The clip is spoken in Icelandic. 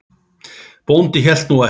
Bóndi hélt nú ekki.